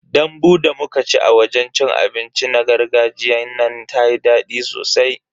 Dambun da muka ci a wajen cin abinci na gargajiyan nan tayi dadi sosai.